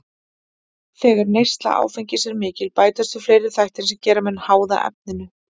Þegar neysla áfengis er mikil bætast við fleiri þættir sem gera menn háða efninu.